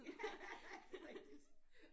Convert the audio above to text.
Ja det er rigtigt